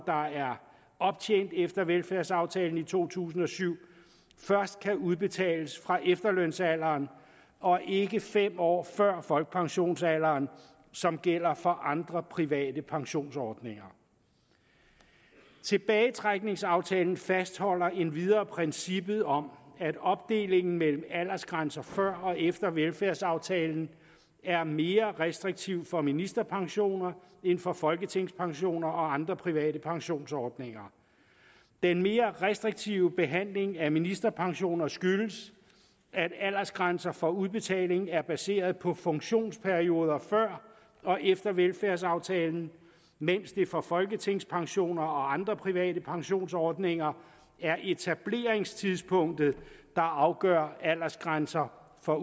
optjent efter velfærdsaftalen i to tusind og syv først kan udbetales fra efterlønsalderen og ikke fem år før folkepensionsalderen som gælder for andre private pensionsordninger tilbagetrækningsaftalen fastholder endvidere princippet om at opdelingen mellem aldersgrænser før og efter velfærdsaftalen er mere restriktiv for ministerpensioner end for folketingspensioner og andre private pensionsordninger den mere restriktive behandling af ministerpensioner skyldes at aldersgrænser for udbetaling er baseret på funktionsperioder før og efter velfærdsaftalen mens det for folketingspensioner og andre private pensionsordninger er etableringstidspunktet der afgør aldersgrænser for